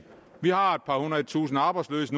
vi har nu et par hundrede tusinde arbejdsløse